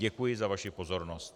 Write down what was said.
Děkuji za vaši pozornost.